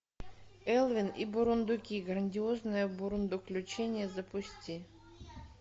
элвин и бурундуки грандиозное бурундуключение запусти